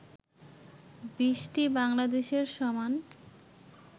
২০টি বাংলাদেশের সমান